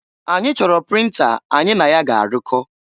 Anyị choro printer anyị na ya ga arụkọ.